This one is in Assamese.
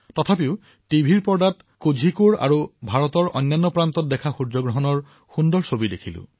কিন্তু দুৰদৰ্শনত আৰু ভাৰতৰ বিভিন্ন প্ৰান্তত দেখা সূৰ্যগ্ৰহণৰ সুন্দৰ আলোকচিত্ৰ মই দেখা পালো